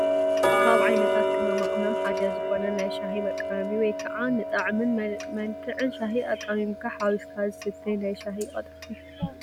ካብ ዓይነታት ቅመማ ቅመም ሓደ ዝኾነ ንናይ ሻሂ መቃመሚ ወይ ከዓ ንጣዕምን መልክዕን ሻሂ ኣቃሚምካን ሓዊስካን ዝስተይ ናይ ሻሂ ቀጠፍ እዮ፡፡